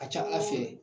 A ka ca ala fɛ